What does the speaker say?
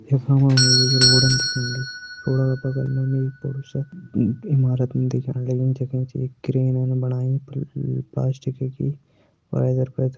एक बडू सा ईमारत दिख्येंण